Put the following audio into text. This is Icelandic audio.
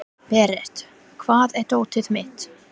Berent, hvar er dótið mitt?